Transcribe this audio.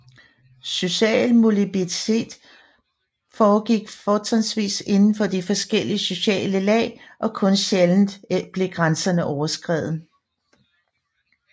Social mobilitet foregik fortrinsvis indenfor de forskellige sociale lag og kun sjældent blev grænserne overskredet